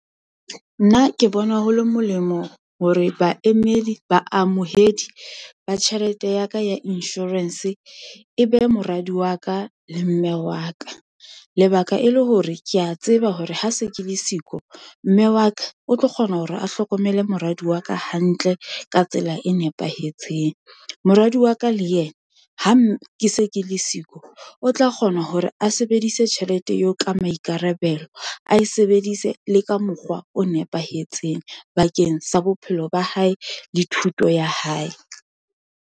Nna ke bona ho le molemo hore baemedi, baamohedi ba tjhelete ya ka ya insurance, e be moradi wa ka, le mme wa ka. Lebaka e le hore kea tseba hore ha se ke le siko, mme wa ka o tlo kgona hore a hlokomele moradi wa ka hantle, ka tsela e nepahetseng. Moradi wa ka le yena, ke se ke le siko, o tla kgona hore a sebedise tjhelete yeo ka maikarabelo, a e sebedise le ka mokgwa o nepahetseng, bakeng sa bophelo ba hae, le thuto ya hae.